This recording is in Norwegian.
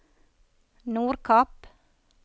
Nordkapp